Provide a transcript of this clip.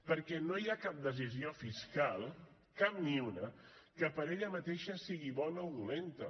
perquè no hi ha cap decisió fiscal cap ni una que per ella mateixa sigui bona o dolenta